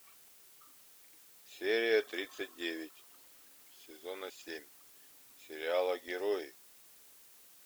серия тридцать девять сезона семь сериала герои